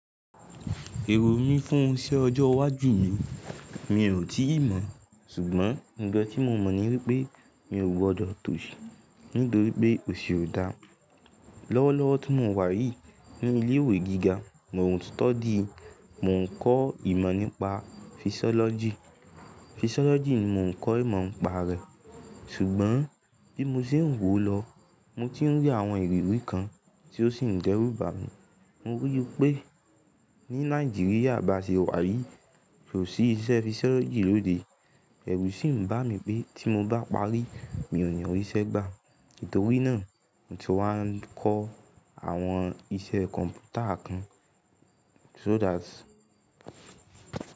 Èrò mí fún iṣẹ́ ọjọ́ iwájú mi, mi ò tíì mọ̀. Ṣùgbọ́n, ǹkan tí mo mọ̀ ní wípé mi ò gbọdọ̀ tóṣì, nítorí pé óṣì ó dáa. Lọ́wọ́lọ́wọ́ tí mo wà yìí ní ilé ìwé gíga, mò ń study, mò ń kọ́ ìmọ̀ nípa physiology. Physiology ni mò ń kọ́ ìmọ̀ nípa rẹ̀, ṣùgbọ́n bí mo ṣe ń wò lọ, mo tí ń rí àwọn ìrírí kan tí ó sì ń dẹ́rù bà mí. Mo rí i pé ní Nàìjíríà bá ṣe wà yí, kò sí iṣẹ́ physiology lóde. Ẹ̀rù sì ń bá mi pé tí mo bá parí, mi ò ní rí iṣẹ́ gbà. Nítorí náà, mo ti wá ń kọ́ àwọn iṣẹ́ kọ̀m̀pútà kan so that.